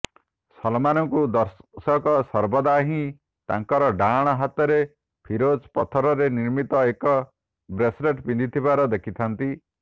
ସଲମାନ୍ଙ୍କୁ ଦର୍ଶକ ସର୍ବଦା ହିଁ ତାଙ୍କର ଡ଼ାହାଣ ହାତରେ ଫିରୋଜା ପଥରରେ ନିର୍ମିତଏକ ବ୍ରେସ୍ଲେଟ୍ ପିନ୍ଧିଥିବାର ଦେଖିଥାନ୍ତି